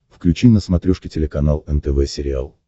включи на смотрешке телеканал нтв сериал